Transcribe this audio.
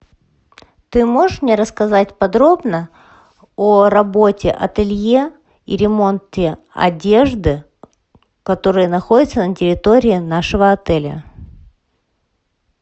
ты можешь мне рассказать подробно о работе ателье и ремонте одежды которые находятся на территории нашего отеля